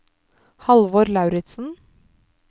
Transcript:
Halvor Lauritzen